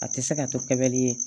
A tɛ se ka to kɛ bɛli ye